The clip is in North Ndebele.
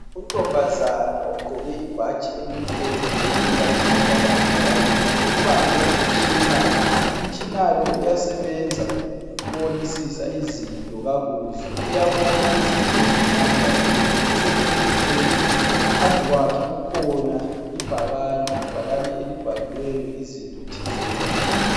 Untombazana ogqoke ibhatshi elimhlophe weluka ikhanda lakhe kakuhle ubambe umtshina. Umtshina lo uyasebenza ukubonisisa izinto kakuhle. Uyabona izinto ezincane kakhulu. Usendlini leyi. Phambi kwakhe kukhona ibhakane. Ibhakane elibhaliweyo izinto thizeni.